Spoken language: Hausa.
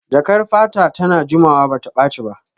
Jakar fata ta na jimawa bata ɓaci ba